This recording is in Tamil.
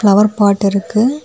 ஃப்ளவர் பாட் இருக்கு.